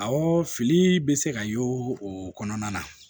Awɔ fili bɛ se ka y'o o kɔnɔna na